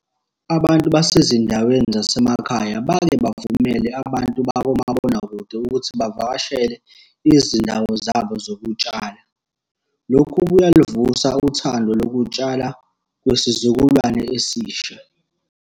Abantu basezindaweni zasemakhaya bake bavumele abantu bakomabonakude ukuthi bavakashele izindawo zabo zokutshala. Lokhu kuyaluvusa uthando lokutshala kwisizukulwane esisha.